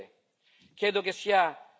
Questo non deve più accadere.